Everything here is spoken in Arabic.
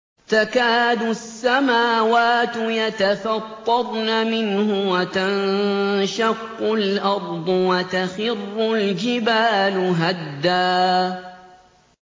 تَكَادُ السَّمَاوَاتُ يَتَفَطَّرْنَ مِنْهُ وَتَنشَقُّ الْأَرْضُ وَتَخِرُّ الْجِبَالُ هَدًّا